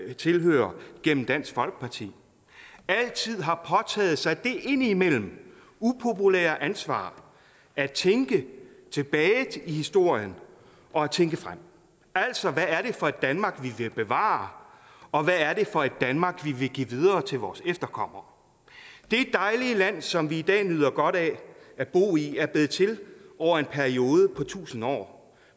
jeg tilhører gennem dansk folkeparti altid har påtaget sig det indimellem upopulære ansvar at tænke tilbage i historien og at tænke frem altså hvad er det for et danmark vi vil bevare og hvad er det for et danmark vi vil give videre til vores efterkommere det dejlige land som vi i dag nyder godt af at bo i er blevet til over en periode på tusind år